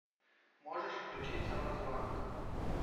можешь включить самозванка